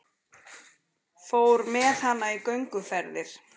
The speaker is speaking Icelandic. Fór með hana í gönguferðir.